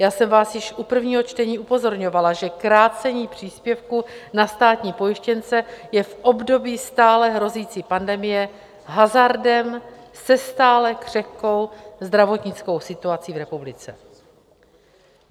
Já jsem vás již u prvního čtení upozorňovala, že krácení příspěvku na státní pojištěnce je v období stále hrozící pandemie hazardem se stále křehkou zdravotnickou situací v republice.